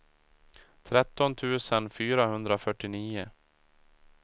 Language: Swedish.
tretton tusen fyrahundrafyrtionio